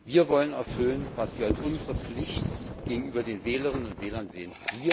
Wir wollen erfüllen, was wir als unsere Pflicht gegenüber den Wählerinnen und Wählern sehen.